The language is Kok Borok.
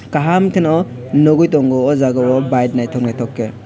kaham ke no nugui tongo aw Jaaga o bike nythok nythok ke.